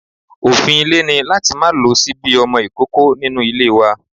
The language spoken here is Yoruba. Òfin ilé ni láti má lo ṣíbí ọmọ ìkókó nínú ilé wa.